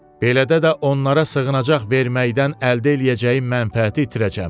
Belədə də onlara sığınacaq verməkdən əldə eləyəcəyim mənfəəti itirəcəm.